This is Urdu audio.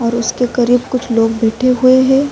اور اسکے کریب کچھ لوگ بیٹھے ہوئے ہے۔